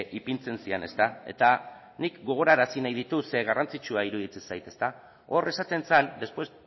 ipintzen ziren ezta eta nik gogorarazi nahi ditut ze garrantzitsua iruditzen zait ezta hor esaten zen después